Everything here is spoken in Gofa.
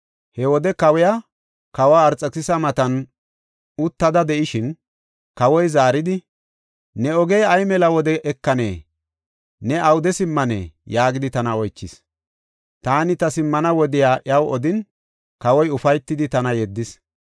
He wode kawiya, Kawa Arxekisisa matan uttida de7ishin, kawoy zaaridi, “Ne ogey ay mela wode ekanee? Ne awude simmanee?” yaagidi tana oychis. Taani ta simmana wodiya iyaw odin, kawoy ufaytidi tana yeddis.